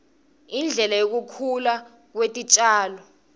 indlela yekukhula kwetitjalo